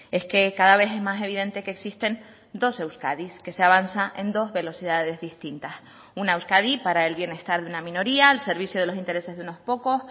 es que cada vez es más evidente que existen dos euskadis que se avanza en dos velocidades distintas una euskadi para el bienestar de una minoría al servicio de los intereses de unos pocos